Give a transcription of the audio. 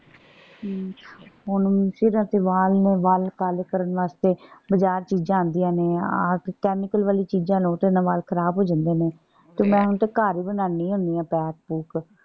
ਅਮ ਹੁਣ ਸਿਰਫ ਵਾਲ ਨੇ ਵਾਲ ਕਾਲੇ ਕਰਨ ਵਾਸਤੇ ਬਾਜ਼ਾਰ ਚੀਜਾਂ ਆਉਂਦੀਆਂ ਨੇ ਆਹ chemical ਵਾਲੀਆਂ ਚੀਜਾਂ ਲਓ ਤੇ ਇਹਨਾ ਵਾਲ ਖ਼ਰਾਬ ਹੋ ਜਾਂਦੇ ਨੇ। ਤੇ ਮੈਂ ਤੇ ਹੁਣ ਘਰ ਹੀ ਬਣਾਂਦੀ ਹੁੰਦੀ ਆ ਪੈਕ ਪੂਕ।